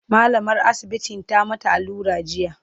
mallamar asibitin ta mata allura jiya